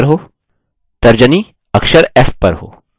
तर्जनी अक्षर f पर हो